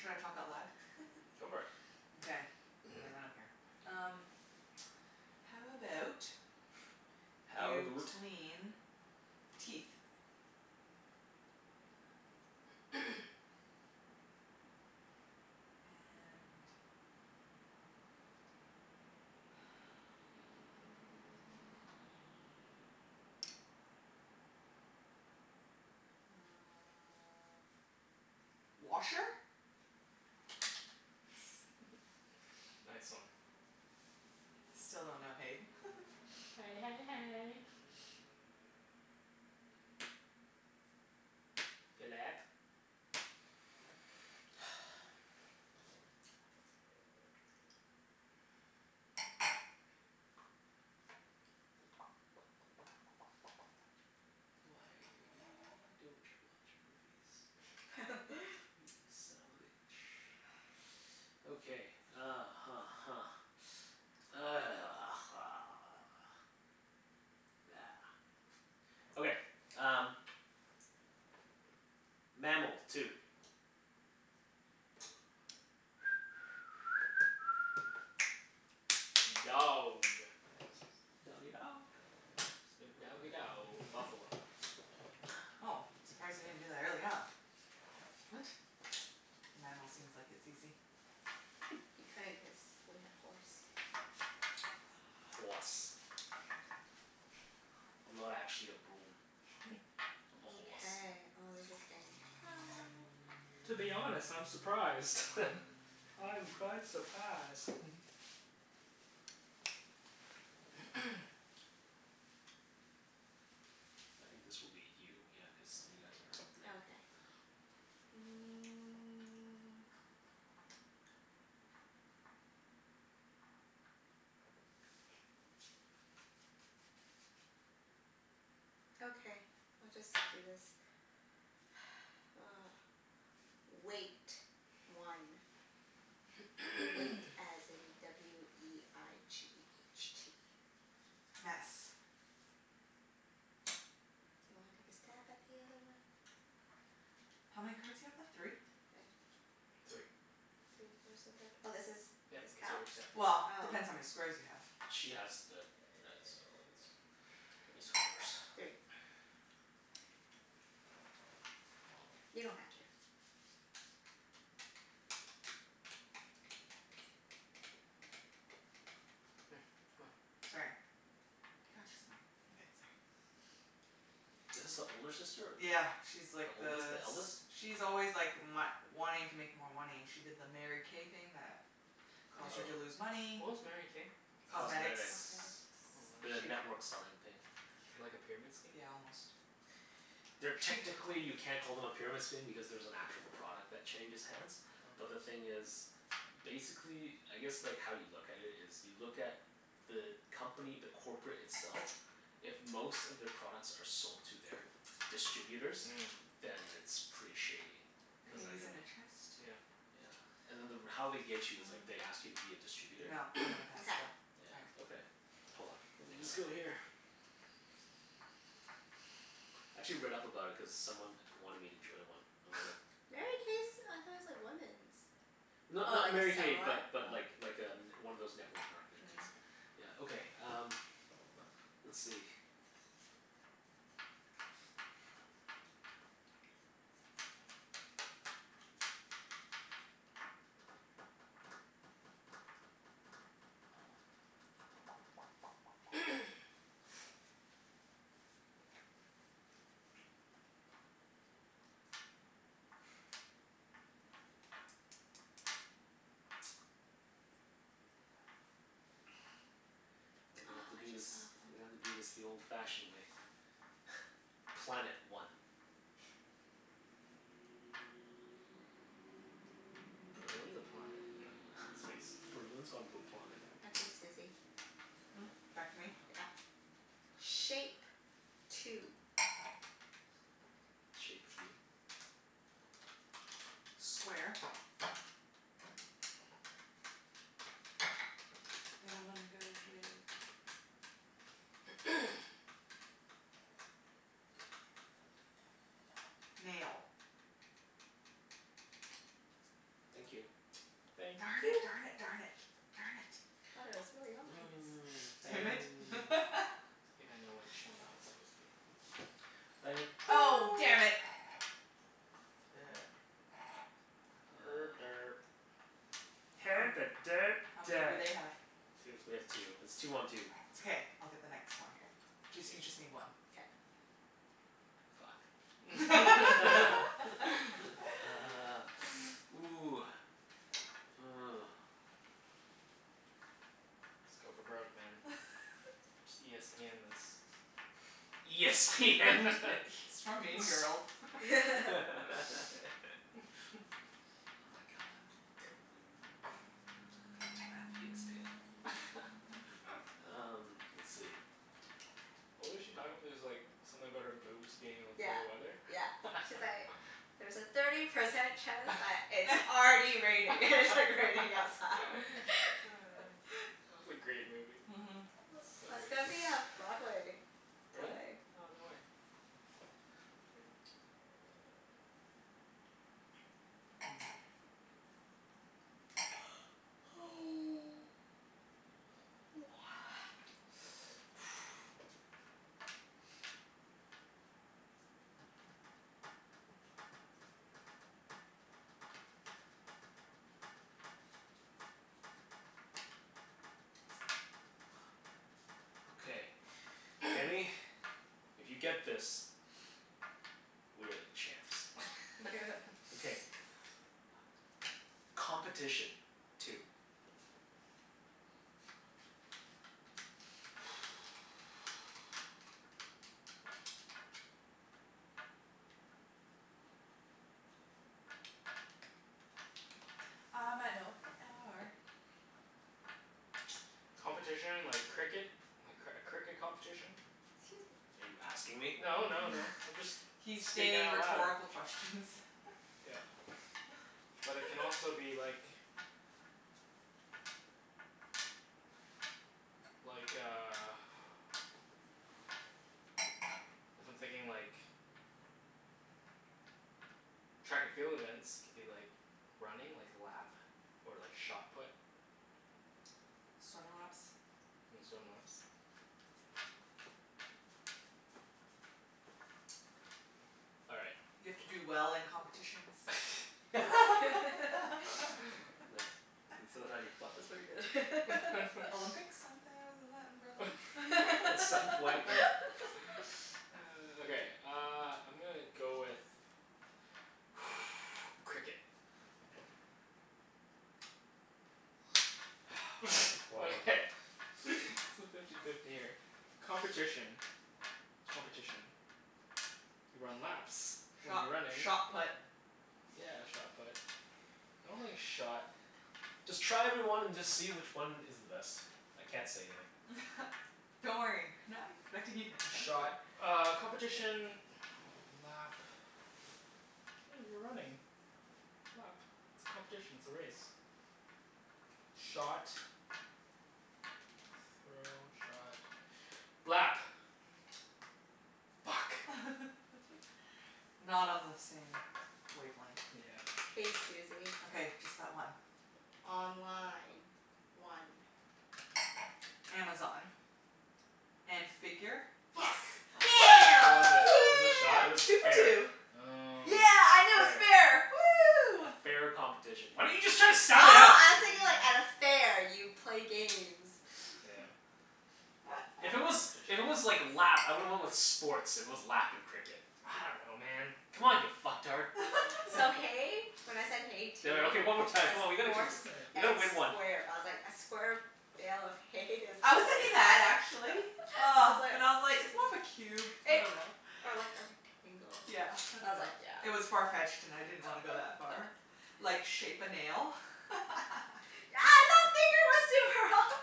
Should I talk out loud? Go for it. Okay. Yeah, I don't care. Um How about How you aboot clean teeth? And uh washer? Yes. Nice one. Still don't know hay. Hey hey hey. Phillip. Why don't you watch movies? You son of a bitch. Okay, uh huh huh. Okay, um Mammal. Two. Dog. Doggie dog. Snoop doggie dow Buffalo. Oh, surprised you didn't do that earlier on. What? The mammal seems like it's easy. He couldn't cuz we had horse. Hoarse. I'm not actually a broom. I'm a horse. Mkay. Oh, this is getting hard. To be honest, I'm surprised. I'm quite surprised. I think this will be you. Yeah, cuz you guys are red. Okay. Mm. Okay, we'll just do this. Weight. One. Weight as in w e i g h t. Mess. Do you wanna take a stab at the other one? How many cards you have left? Three? Three. Three? Where's the third? Oh, this is, Yep. this It's counts? yours. Yep. Oh. Well, depends how many squares you have. She has the red so it's it's horse. Three. You don't have to. Hmm. Come on. Sorry. God, she's annoying. Okay, sorry. Is this the older sister or the Yeah, she's like The oldest? the The eldest? s- she's always like my- wanting to make more money. She did the Mary K thing that Oh, caused her to Oh. lose Oh. money. what was Mary K? Cosmetics. Cosmetics. Cosmetics. Oh, The She network selling thing. like a pyramid scheme? Yeah, almost. They're, technically you can't call them a pyramid scheme because there's an actual product that changes hands. But the Oh. thing is basically, I guess like how you look at it is you look at the company, the corporate itself if most of their products are sold to their distributors Mm. then it's pretty shady. Cuz like Mm, I in a mean chest. yeah. Yeah. And then the r- how they get you is like they ask you to be a distributor. No, I'm gonna pass Mkay. still. All right. Yeah. Okay. Hold on. Let me just go here. I actually read up about it cuz someone wanted me to join one. I was like Mary K's, I thought it's like women's? Oh, Not I not Mary guess K similar? but Oh. but like like a n- one of those network marketing Mm. things. Yeah, okay um let's see Oh, We're gonna have to I do this just thought of We're gonna one. have to do this the old fashioned way. Planet. One. Berlin's a planet. No. Space. Berlin's on a planet. Okay, Susie. Hmm? Back to me? Yep. Shape. Two. Shape of you. Square. And I'm gonna go with Nail. Thank you. Thank Darn it, you darn p- it, darn it. Darn it. Thought it was really obvious. Damn it. I think I know which one that was supposed to be. Oh No. damn it. Er Uh derp. How many, how many do they have? Two. We have two. It's two one two. It's okay. I'll get the next K. one. Jus- you just Yes. need one. K. Fuck. Ah, ooh. Oh. Let's go for broke, man. Just e s p end this. E s p end this. It's from Mean Girls. Oh my god. Um, let's see. What was she talking? It's like something about her boobs being able to Yeah, tell the weather? yeah. She's like "There's a thirty percent chance That that it's already raining." And it's like raining outside. was a great movie. Mhm. I So love, good. it's gonna be a Broadway Really? play. Oh, no way. Okay. Kenny, if you get this we are the champs. Okay. Competition. Two. I might know what they are. Competition like cricket? A cr- cricket competition? 'Scuse me. Are you asking me? No no no, I'm just He's speaking stating out loud. rhetorical questions. Yeah. But it can also be like like a if I'm thinking like track and field events, it could be like running, like lap. Or like shot put. Swim laps. And swim laps. All right. You have to do well in competitions. Nah, that's how you fuck That's with pretty people. good. Olympics? Isn't that the, isn't that in Berlin? At some point we Okay, uh I'm gonna go with Cricket. One month Okay, it's fifty fifty here. Competition. Competition. You run laps when Shot you're running. shot put. Yeah, shot put. I don't think shot Just try every one and just see which one is the best. I can't say anything. Don't worry. We're not expecting you to answer. Shot uh competition lap oh, you're running lap. It's competition, it's a race. Shot throw, shot, lap. Fuck. Not on the same wavelength. Yeah. K, Susie. Okay. Just that one. Online. One. Amazon. And figure? Yes! Fu- Yeah. Killed it. Was it shot? It Woo! was Yeah. Two for fair. two. Oh. Yeah, I knew it was Fair. fair. A Woo! fair competition. Why didn't you just try to Oh, sound it out? I was thinking like at a fair you play games. Yeah. If it was, if it was Competition. like lap, I would've went with sports, if it was lap and cricket. I don't know, man. Come on you fucktard. So hay, when I said hay two Damn it. Okay, one more time. as Come on, we gotta keep horse on Okay. We and gotta win one. square. But I was like a square bale of hay is I was thinking that actually. I Ah. But I was was like, like "It's more of a cube. I It dunno." or like a rectangle. Yeah, I I was like, dunno. yeah. It was far-fetched and I didn't wanna go that far. Like, shape a nail?